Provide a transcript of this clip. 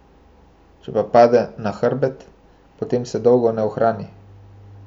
Če pa pade na hrbet, potem se dolgo ne ohrani.